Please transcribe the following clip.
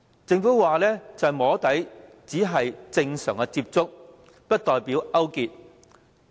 政府聲稱"摸底"只是正常接觸，不代表勾結。